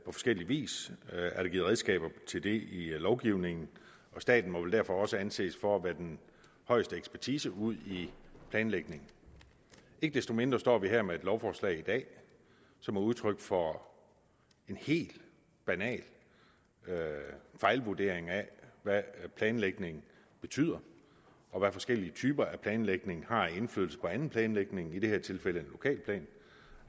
forskellig vis er der givet redskaber til det i lovgivningen og staten må vel derfor også anses for at være den højeste ekspertise udi planlægning ikke desto mindre står vi her med et lovforslag i dag som er udtryk for en helt banal fejlvurdering af hvad planlægning betyder og hvad forskellige typer af planlægning har af indflydelse på anden planlægning i det her tilfælde en lokalplan